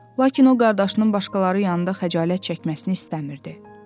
Lakin o qardaşının başqaları yanında xəcalət çəkməsini istəmirdi.